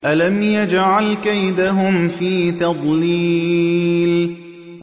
أَلَمْ يَجْعَلْ كَيْدَهُمْ فِي تَضْلِيلٍ